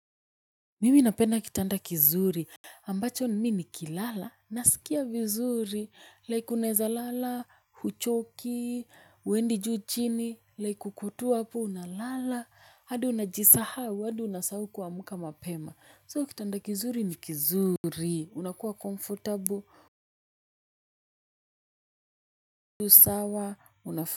Mimi napenda kitanda kizuri ambacho mimi nikilala, nasikia vizuri, like unaeza lala, huchoki, huendi juu chini, like uko tu hapo, unalala, hadi unajisahau, hai unasahau kuamka mapema. So kitanda kizuri ni kizuri. Unakuwa comfortable.